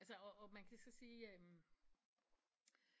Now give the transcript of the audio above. Altså og og man kan så sige